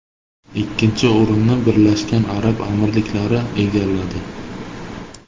Ikkinchi o‘rinni Birlashgan Arab Amirliklari egalladi.